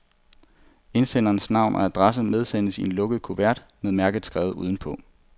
Indsenderens navn og adresse medsendes i en lukket kuvert med mærket skrevet udenpå.